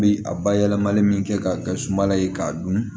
Bi a bayɛlɛmali min kɛ k'a kɛ sumala ye k'a dun